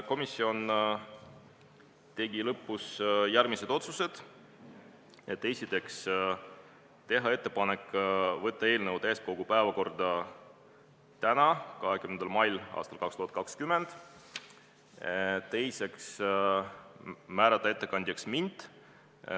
Komisjon tegi järgmised otsused: esiteks teha ettepanek võtta eelnõu täiskogu päevakorda tänaseks, 20. maiks ja teiseks, määrata ettekandjaks mind.